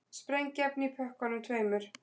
Sprengiefni í pökkunum tveimur